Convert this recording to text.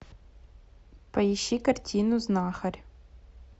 поищи картину знахарь